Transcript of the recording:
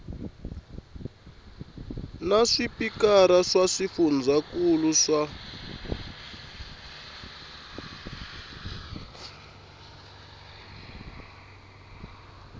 na swipikara swa swifundzankulu swa